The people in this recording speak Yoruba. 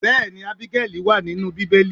Bẹẹni, Ábígẹ́lì wa nínú Bíbélì.